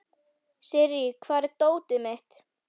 Sirrí, hvar er dótið mitt?